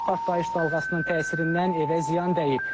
Partlayış dalğasının təsirindən evə ziyan dəyib.